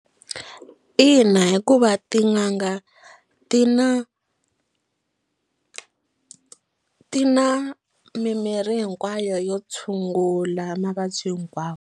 Ina, hikuva tin'anga ti na ti na mimirhi hinkwayo yo tshungula mavabyi hinkwawo.